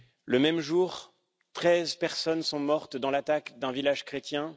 Le même jour, treize personnes sont mortes dans l'attaque d'un village chrétien.